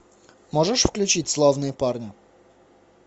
можешь включить славные парни